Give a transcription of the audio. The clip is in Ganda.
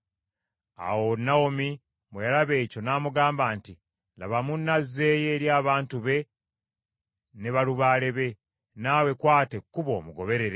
Awo Nawomi bwe yalaba ekyo, namugamba nti, “Laba, munno azzeeyo eri abantu be ne balubaale be, naawe kwata ekkubo omugoberere.”